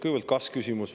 Kõigepealt kas-küsimus.